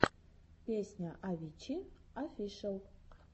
песня авичи офишел